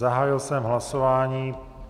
Zahájil jsem hlasování.